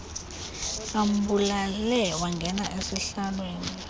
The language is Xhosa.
ambulale wangena esihlaalweni